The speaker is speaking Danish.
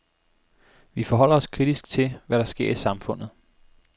Vi forholder os kritisk til, hvad der sker i samfundet.